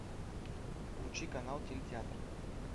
включи канал телетеатр